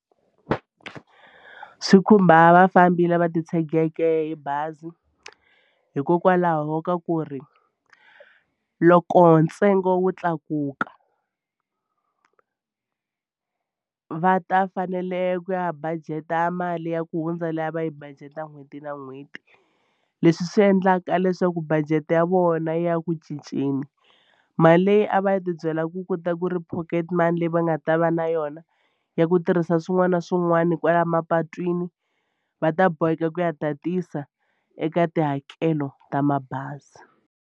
Swi khumba vafambi lava titshegeke hi bazi hikokwalaho ka ku ri loko ntsengo wu tlakuka va ta fanele ku ya budget-a mali ya ku hundza leyi a va yi budget n'hweti na n'hweti. Leswi swi endlaka leswaku budget ya vona ya ku cinceni mali leyi a va ya tibyela ku ku ta ku ri pocket money leyi va nga ta va na yona ya ku tirhisa swin'wana na swin'wana kwala mapatwini va ta boheka ku ya tatisa eka tihakelo ta mabazi.